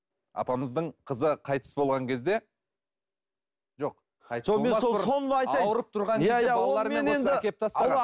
апамыздың қызы қайтыс болған кезде жоқ ауырып тұрған кезде